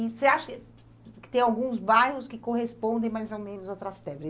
E você acha que tem alguns bairros que correspondem mais ou menos ao Trastevere?